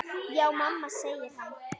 Já mamma, segir hann.